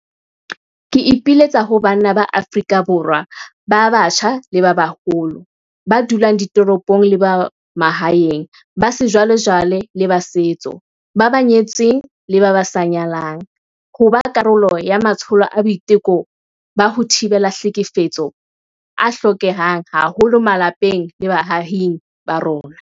Ke ipiletsa ho banna ba Afrika Borwa ba batjha le ba baholo, ba dulang ditoropong le ba mahaeng, ba sejwalejwale le ba setso, ba nyetseng le ba sa nyalang, ho ba karolo ya matsholo a boiteko ba ho thibela tlhekefetso a hlokehang haholo malapeng le baahing ba rona.